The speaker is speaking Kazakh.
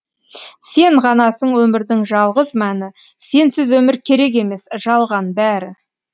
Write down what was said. сен ғанасың өмірдің жалғыз мәні сенсіз өмір керек емес жалған бәрі